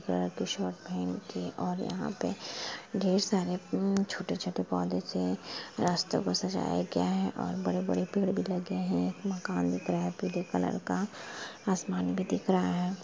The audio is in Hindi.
पहन के और यहाँ पे ढेर सारे यूं छोटे-छोटे पौधे से रास्ता को सजाया गया है क्या है और बड़े-बड़े पेड़ भी लगे है एक मकान दिख रहा है पीले कलर का आसमान भी दिख रहा है।